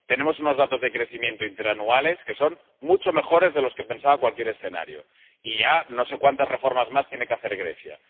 tenemos unos datos de crecimiento interanuales que son mucho mejores de lo que se pensaba en cualquier escenario, y ya no sé cuántas reformas más tiene que hacer Grecia.